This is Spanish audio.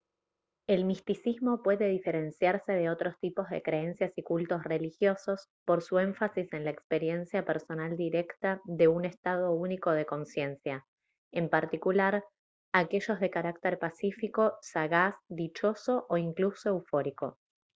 el misticismo puede diferenciarse de otros tipos de creencias y cultos religiosos por su énfasis en la experiencia personal directa de un estado único de consciencia en particular aquellos de carácter pacífico sagaz dichoso o incluso eufórico